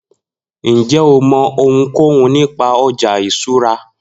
Njẹ o mọ ohunkohun nipa ọja iṣura?